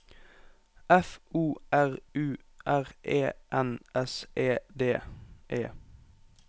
F O R U R E N S E D E